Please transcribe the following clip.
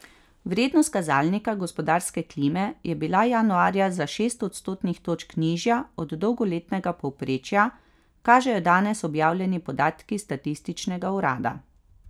Vrednost kazalnika gospodarske klime je bila januarja za šest odstotnih točk nižja od dolgoletnega povprečja, kažejo danes objavljeni podatki statističnega urada.